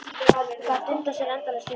Gat dundað sér endalaust við það.